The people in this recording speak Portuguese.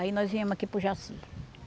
Aí nós viemos aqui para o Jaci.